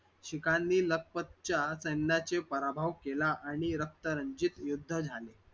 शिखांनी लखपतच्या सैन्याचे पराभव केला आणि रक्तरंजित युद्ध झाले.